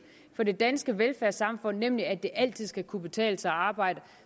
for det danske velfærdssamfund nemlig at det altid skal kunne betale sig at arbejde